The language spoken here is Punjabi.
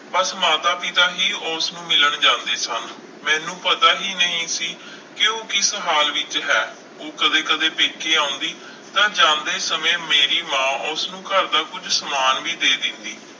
ਬਸ ਮਾਤਾ ਪਿਤਾ ਹੀ ਉਸਨੂੰ ਮਿਲਣ ਜਾਂਦੇ ਸਨ, ਮੈਨੂੰ ਪਤਾ ਹੀ ਨਹੀਂ ਸੀ ਕਿ ਉਹ ਕਿਸ ਹਾਲ ਵਿੱਚ ਹੈ, ਉਹ ਕਦੇ ਕਦੇ ਪੇਕੇ ਆਉਂਦੀ ਤਾਂ ਜਾਂਦੇ ਸਮੇਂ ਮੇਰੀ ਮਾਂ ਉਸਨੂੰ ਘਰਦਾ ਕੁੱਝ ਸਮਾਨ ਵੀ ਦੇ ਦਿੰਦੀ।